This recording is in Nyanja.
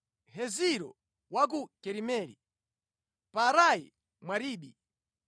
Heziro wa ku Karimeli, Paarai Mwaribi,